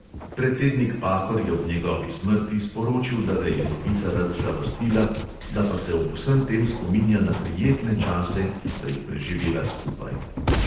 Predsednik pahor je ob njegovi smrti sporočil, da ga je novica razžalostila, da pa se ob vsem tem spominja na prijetne čase, ki sta jih preživela skupaj.